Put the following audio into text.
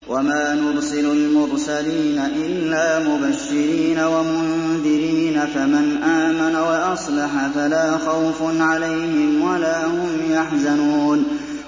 وَمَا نُرْسِلُ الْمُرْسَلِينَ إِلَّا مُبَشِّرِينَ وَمُنذِرِينَ ۖ فَمَنْ آمَنَ وَأَصْلَحَ فَلَا خَوْفٌ عَلَيْهِمْ وَلَا هُمْ يَحْزَنُونَ